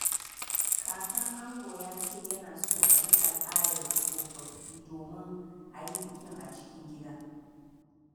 Kakan ango ya ce yana so a bi al’adar tsofaffi domin a yi bikin a cikin gida.